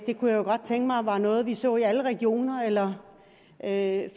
det kunne jeg godt tænke mig var noget vi så i alle regioner eller at